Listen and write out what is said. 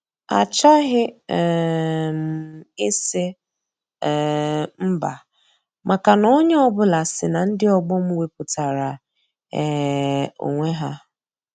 Achọghị um m ịsị um mba maka na onye ọ bụla si na ndị ọgbọ m wepụtara um onwe ha.